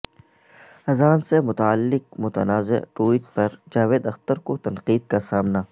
اذان سے متعلق متنازع ٹوئٹ پر جاوید اختر کو تنقید کا سامنا